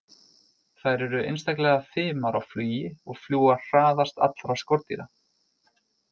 Þær eru einstaklega fimar á flugi og fljúga hraðast allra skordýra.